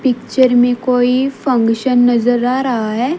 Picture मे कोई function नज़र आ रहा है।